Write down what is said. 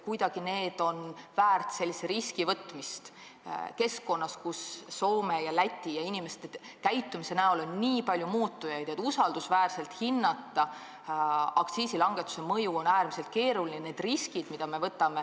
Kuidagi tasub ära võtta selline risk ka olukorras, kus Soome ja Läti riigi ning inimeste käitumise näol on nii palju muutujaid, et on äärmiselt keeruline aktsiisilangetuse mõju usaldusväärselt hinnata.